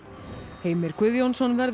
Heimir Guðjónsson verður